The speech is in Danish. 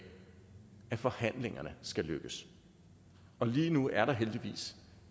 at forhandlingerne skal lykkes og lige nu er der heldigvis